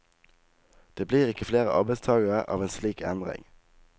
Det blir ikke flere arbeidstagere av en slik endring.